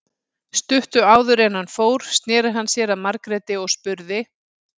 Stuttu áður en hann fór sneri hann sér að Margréti og spurði